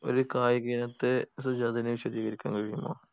ഒര് കായിക ഇനത്തെ സജാദിന് വിശദീകരിക്കാൻ കഴിയുമോ